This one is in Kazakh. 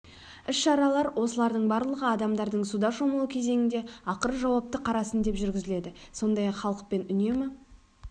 іс-шаралар осылардың барлығы адамдардың суда шомылу кезеңінде ақыры жауапты қарасын деп жүргізіледі сондай-ақ халықпен үнемі